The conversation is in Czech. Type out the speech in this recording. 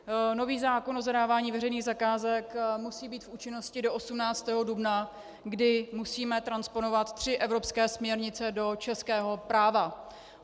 Nový zákon o zadávání veřejných zakázek musí být v účinnosti do 18. dubna, kdy musíme transponovat tři evropské směrnice do českého práva.